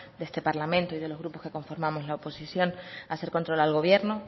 de este parlamento y de los grupos que conformamos la oposición hacer control al gobierno